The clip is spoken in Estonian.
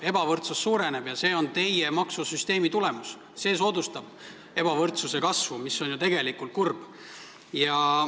Ebavõrdsus suureneb ja see on teie maksusüsteemi tulemus – see soodustab ebavõrdsuse kasvu, mis on ju tegelikult kurb.